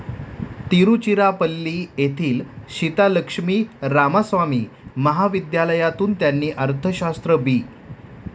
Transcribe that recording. तिरुचिरापल्ली येथील सीतालक्ष्मी रामास्वामी महाविद्यालयातून त्यांनी अर्थशास्त्र बी.